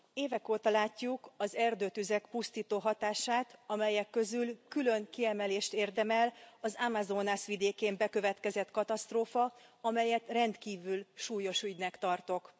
Évek óta látjuk az erdőtüzek pusztító hatását, amelyek közül külön kiemelést érdemel az Amazonas vidékén bekövetkezett katasztrófa, amelyet rendkívül súlyos ügynek tartok.